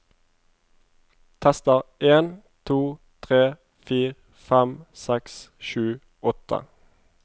Tester en to tre fire fem seks sju åtte